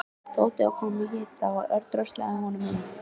Tóti var kominn með hita og Örn dröslaði honum inn.